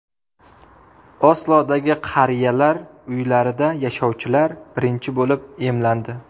Oslodagi qariyalar uylarida yashovchilar birinchi bo‘lib emlandi.